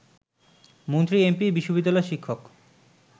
মন্ত্রী-এমপি, বিশ্ববিদ্যালয় শিক্ষক